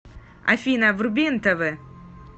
афина вруби нтв